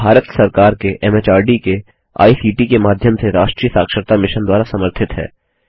भारत सरकार के एमएचआरडी के आईसीटी के माध्यम से राष्ट्रीय साक्षरता मिशन द्वारा समर्थित है